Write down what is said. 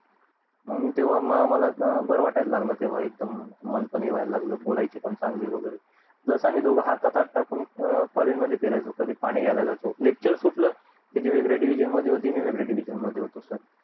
आणि म तेव्हा आमला बार वाटायला लागला तेव्हा एकदम बोलायची वैगरे पण चंगली एकदम हातात हात टाकून college मध्ये फिरायचो कधी पाणी जायचो lecture सुटलं कि ती वेगळ्या division मध्ये होती मी वेगळ्या division मध्ये होतो